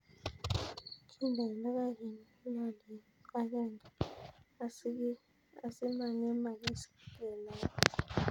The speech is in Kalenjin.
Kindeni logoek eng' lolet agenge asimangemagis kelae